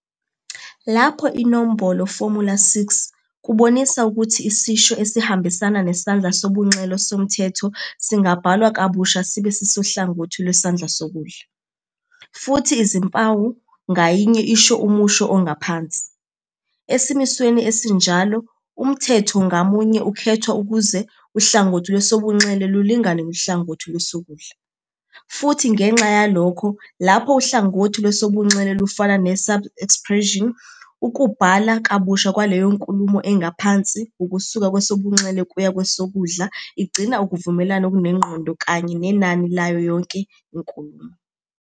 lapho inombolo, formula_6, kubonisa ukuthi isisho esihambisana nesandla sobunxele somthetho singabhalwa kabusha sibe sisohlangothini lwesandla sokudla, futhi izimpawu ngayinye isho umusho ongaphansi. Esimisweni esinjalo, umthetho ngamunye ukhethwa ukuze uhlangothi lwesobunxele lulingane nohlangothi lwesokudla, futhi ngenxa yalokho lapho uhlangothi lwesobunxele lufana ne-subexpression, ukubhala kabusha kwaleyo nkulumo engaphansi ukusuka kwesobunxele kuya kwesokudla igcina ukuvumelana okunengqondo kanye nenani layo yonke inkulumo..